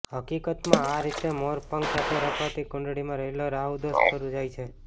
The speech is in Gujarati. હકીકતમાં આ રીતે મોરપંખ સાથે રાખવાથી કુંડળીમાં રહેલો રાહુદોષ દૂર થઈ જાય છે